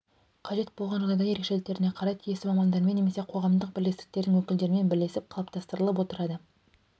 қажет болған жағдайда ерекшеліктеріне қарай тиісті мамандармен немесе қоғамдық бірлестіктердің өкілдерімен бірлесіп қалыптастырылып отырады